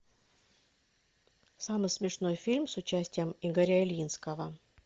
самый смешной фильм с участием игоря ильинского